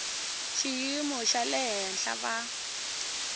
xiyimo xa le henhla va